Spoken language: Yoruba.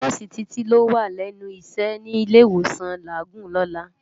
Nòsi Titi ló wá lènú iṣè ni Ilé Iwósán Lágúùn lòlá